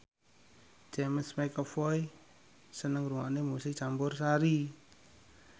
James McAvoy seneng ngrungokne musik campursari